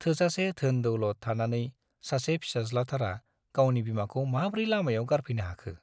थोजासे धोन - दौलत थानानै सासे फिसाज्लाथारा गावनि बिमाखौ माब्रै लामायाव गारफैनो हाखो ।